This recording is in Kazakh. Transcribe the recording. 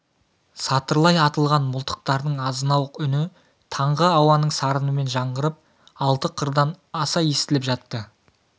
сатырлай атылған мылтықтардың азынауық үні таңғы ауаның сарынымен жаңғырығып алты қырдан аса естіліп жатты